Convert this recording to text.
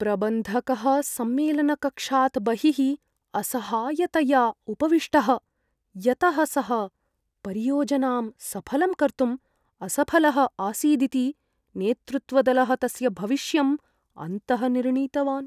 प्रबन्धकः सम्मेलनकक्षात् बहिः असहायतया उपविष्टः, यतः सः परियोजनां सफलं कर्तुं असफलः आसीदिति नेतृत्वदलः तस्य भविष्यं अन्तः निर्णीतवान्।